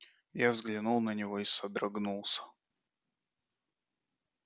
я взглянул на него и содрогнулся